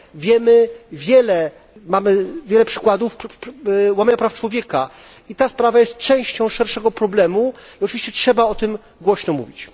Wiemy wiele, mamy wiele przykładów łamania praw człowieka i ta sprawa jest częścią szerszego problemu i, oczywiście, trzeba o tym głośno mówić.